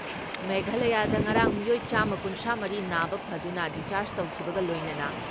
ꯃꯦꯘꯥꯂꯌꯗ ꯉꯔꯥꯡ ꯃꯤꯑꯣꯏ ꯆꯥꯃ ꯀꯨꯟꯊ꯭ꯔꯥ ꯃꯔꯤ ꯅꯥꯕ ꯐꯗꯨꯅ ꯗꯤꯁꯆꯔꯥꯖ ꯇꯧꯈꯤꯕꯒ ꯂꯣꯏꯅꯅ